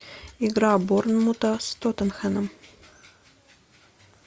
игра борнмута с тоттенхэмом